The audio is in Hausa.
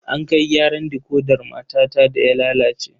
An kai gyaran dikodar matata da ya lalace.